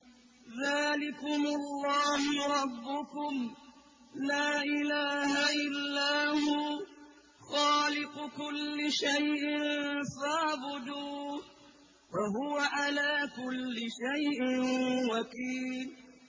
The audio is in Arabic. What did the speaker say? ذَٰلِكُمُ اللَّهُ رَبُّكُمْ ۖ لَا إِلَٰهَ إِلَّا هُوَ ۖ خَالِقُ كُلِّ شَيْءٍ فَاعْبُدُوهُ ۚ وَهُوَ عَلَىٰ كُلِّ شَيْءٍ وَكِيلٌ